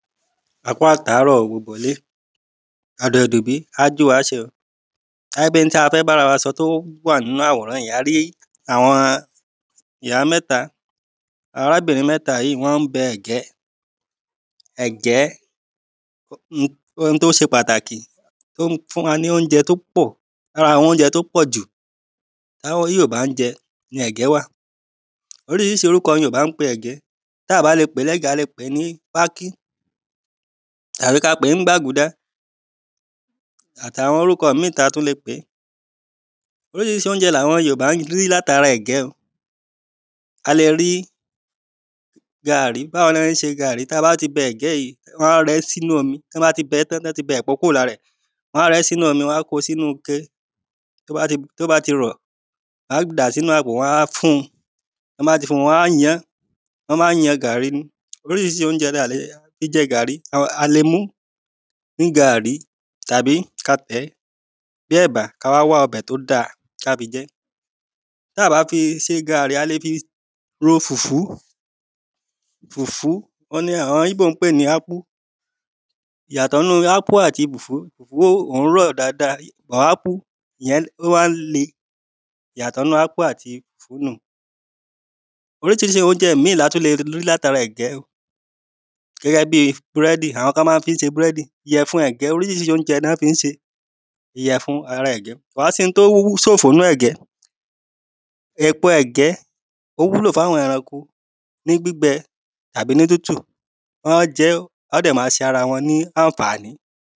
á kú àtàárọ̀ ò gbogbo ilé, ọ̀dẹ̀ ò dùn bí, á jú wa ṣe ò. káá pé ohun tí a fẹ́ bára wa sọ tó wà nínú àwòrán yí, a rí àwọn ìyá mẹ́ta, arábìnrin mẹ́ta yí wọ́n ń bẹ ẹ̀gẹ́ ẹ̀gẹ́, ohun tó ṣe pàtàkì tó ń fún wa ní oúnjẹ tó pọ̀ lára àwọn oúnjẹ tó pọ̀jù tí yorùbá ń jẹ ni ẹ̀gẹ́ wà oríṣiríṣi orúkọ ni yorùbá ń pe ẹ̀gé, táa bá le pèé ní ẹ̀gé, a lè pèé ní pákí tàbí ka pèé ń gbágudá àtàwọn orúkọ míì ta tún le pèé oríṣiríṣi oúnjẹ ni àwọn yorùbá ń rí látara ẹ̀gẹ́ ò a le rí gaàrí. báwo la ṣe ń ṣe gaàrí? ta bá ti bẹ ẹ̀gẹ́ yí wọ́n á rẹ ẹ́ sínú omi tán bá ti bẹẹ́ tán, tán ti bẹ èpo kúrò lára rẹ̀ wọ́n á rẹ ẹ́ sínú omi, wọ́n á ko sínú ike tó bá ti rọ̀ wọ́n á dàá sínú àpò, wọ́n á fún un tán bá ti fún un wọ́n á yan án, wọ́n máa ń yan gàrí ni oríṣiríṣi oúnjẹ la lè fi jẹ gàrí, a lè mu ún ní gaàrí tàbí ka tẹ̀ẹ́ bí ẹ̀bà ká wá wá ọbẹ̀ tó dáa ká fi jẹ́ táà bá fi ṣe gàrí a le fi ro fùfú fùfú òhun ni àwọn íbò ń pè ní ápú ìyàtọ̀ nínú ápú àti fùfú wó, òhun rọ̀ dáadáa but ápú ìyẹn ó máa ń le ìyàtọ̀ nínú ápú àti fùfú nù un. oríṣiríṣi oúnjẹ míì latún le rí látara ẹ̀gẹ́ gẹ́gẹ́ bíi búrẹ́dì, àwọn kan máa fi ń ṣe búrẹ́dì, ìyẹ̀fun ẹ̀gẹ́ oríṣiríṣi oúnjẹ ná fi ń ṣe, ìyẹ̀fun ara ẹ̀gẹ́. kò wá síhun tó sòfò nínú ẹ̀gẹ́ èpo ẹ̀gẹ́ ó wúlò fáwọn ẹranko ní gbígbẹ àbí ní tútù, wọ́n á jẹ ẹ́, ó dẹ̀ ma ṣe ara wọn ní ànfàní